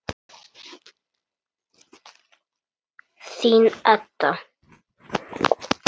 Þín, Edda.